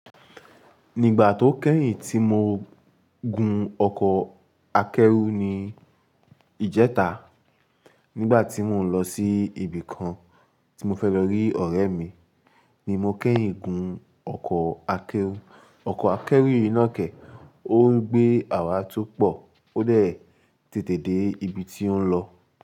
Nígbà tó kẹ́yìn tí mo gun ọkọ̀ akẹ́rù ní ìjẹta, nígbà tí mò ń lọ sí ibì kan tí mo fẹ́ lọ rí ọ̀rẹ́ mi ni mo kẹ́yìn gun ọkọ̀ akẹ́rù. Ọkọ̀ akẹ́rù yìí ná kẹ́, ó ń gbé àwa atúpọ̀ ó dẹ̀ tètè dé ibi tí ó ń lọ.